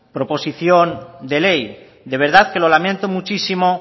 proposición de ley de verdad que lo lamento muchísimos